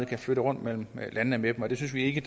kan flytte rundt mellem landene med dem det synes vi ikke